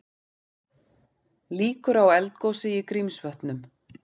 Líkur á eldgosi í Grímsvötnum